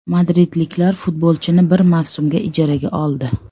Madridliklar futbolchini bir mavsumga ijaraga oldi.